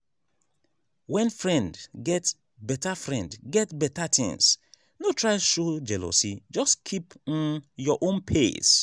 when friend get better friend get better things no try show jealousy just keep um your own pace.